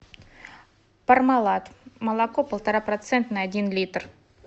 пармалат молоко полтора процентное один литр